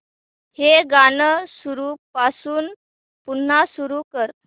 हे गाणं सुरूपासून पुन्हा सुरू कर